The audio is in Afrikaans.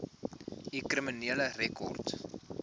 u kriminele rekord